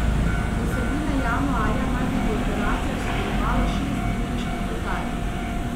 Od sredine januarja naj bi v operacijah sodelovalo šest nemških letal.